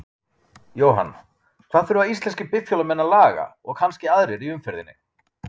Jóhann: Hvað þurfa íslenskir bifhjólamenn að laga, og kannski aðrir í umferðinni?